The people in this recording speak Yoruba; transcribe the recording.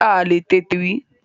Kẹrosini ti di ohun tí a le tètè rí.